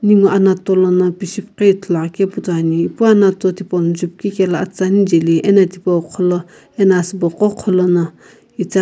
ninguo anato lono pishipghi ithulu akeu putone epu na anato tipou no zubkikaelo atasa ni jaeli ano thipo gholo ana asii bo gho gholono ithaghi.